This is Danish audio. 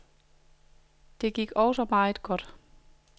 Det gik også meget godt.